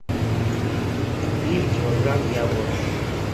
купи килограмм яблок